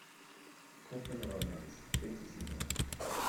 копы новобранцы третий сезон